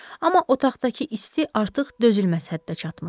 Amma otaqdakı isti artıq dözülməz həddə çatmışdı.